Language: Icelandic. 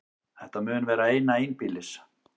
Þetta mun vera eina einbýlis